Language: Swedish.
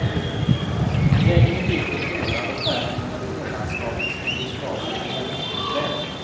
Vägen är byggd på pålar och skär igenom ett månlandskap med små buskage av eukalyptusträd.